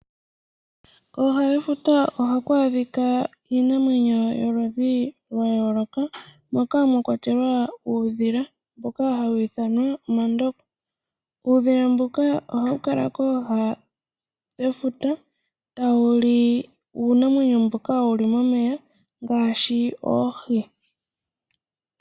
Kooha dhefuta ohaku adhika iinamwenyo yayooloka moka mwakwatelwa uudhila mboka hawu ithanwa omandoko. Uudhika mbuka ohawu kala kooha dhefuta tawu li uunamwenyo mboka wuli momeya ngaashi oohi.